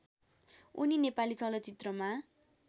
उनी नेपाली चलचित्रमा